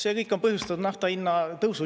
See kõik on põhjustanud nafta hinnatõusu.